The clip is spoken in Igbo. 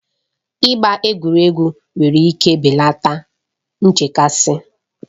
Ịgba egwuregwu nwere ike belata nchekasị.